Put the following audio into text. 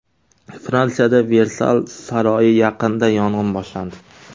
Fransiyada Versal saroyi yaqinida yong‘in boshlandi .